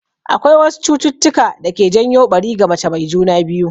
Akwai wasu cututtuka da ke janyo ɓari ga mace mai juna biyu.